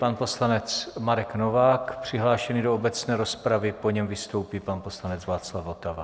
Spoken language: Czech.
Pan poslanec Marek Novák přihlášený do obecné rozpravy, po něm vystoupí pan poslanec Václav Votava.